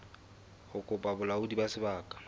ho kopa bolaodi ba sebaka